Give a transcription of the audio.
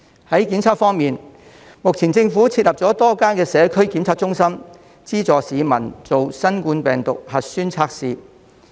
在檢測方面，目前政府設立了多間社區檢測中心，資助市民進行新冠病毒核酸測試。